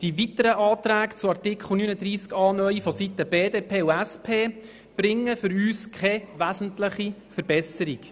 Die weiteren Anträge zu Artikel 39a (neu) vonseiten BDP und SP bringen aus unserer Sicht keine wesentliche Verbesserung.